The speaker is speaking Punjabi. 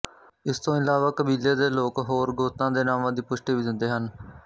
ਇਸ ਤੋਂ ਇਲਾਵਾ ਕਬੀਲੇ ਦੇ ਲੋਕ ਹੋਰ ਗੋਤਾਂ ਦੇ ਨਾਵਾਂ ਦੀ ਪੁਸ਼ਟੀ ਵੀ ਦਿੰਦੇ ਹਨ